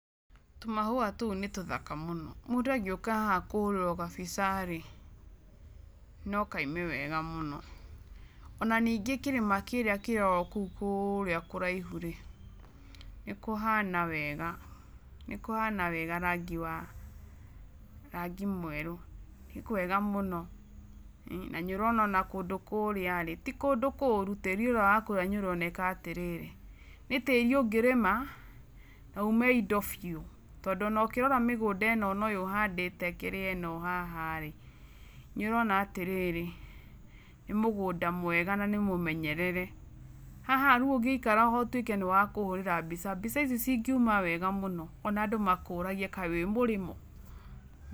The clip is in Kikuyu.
Tũmahua tũu, nĩ tũthaka mũno, mũndũ angĩuka haha kũhũrĩrwo gambica rĩ, no kaime wega mũno. Ona ningĩ kĩrĩma kĩrĩa kĩrĩ o kũrĩa kũraihu rĩ, nĩ kũhana wega, nĩ kũhana wega rangi, wa rangi mwerũ , nĩ kwega mũno na nĩ ũrona kũndũ kũrĩa rĩ ti kũndũ kũrũ, tĩri ũrĩa wa kũrĩa nĩ oreneka atĩrĩrĩ, nĩ tĩri ũngĩrĩma na ume indo mbiũ, tondũ ona ũkĩrora mĩgũnda ĩno ona ũyũ ũhandĩte kĩrĩa ĩno haha rĩ , nĩ ũrona atĩrĩrĩ ,nĩ mũgũnda mwega na niĩmũmenyerere, haha rĩu ũngĩikara na ũtwĩke wa kũhũrĩra mbica ici cingiuma wega mũno, ona andũ makũragie kaĩ wĩ mũrĩmo?.